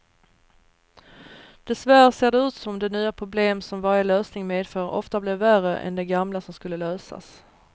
Dessvärre ser det ut som de nya problem som varje lösning medför ofta blir värre än de gamla som skulle lösas.